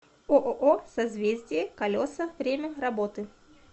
ооо созвездие колеса время работы